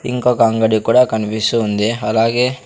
ఇంకొక అంగడి కూడా కనిపిస్తూ ఉంది అలాగే--